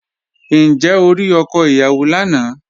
Ǹjẹ́ o rí ọkọ ìyàwó lánàá?